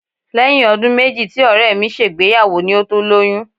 Lẹ́yìn ọdún méjì tí Ọ̀rẹ́ mi ṣègbéyàwó ni ó tó lóyún